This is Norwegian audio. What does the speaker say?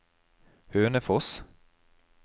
Hønefoss